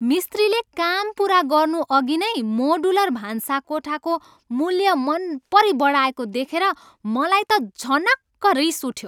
मिस्त्रीले काम पुरा गर्नुअघि नै मोडुलर भान्साकोठाको मूल्य मनपरी बढाएको देखेर मलाई त झनक्क रिस उठ्यो।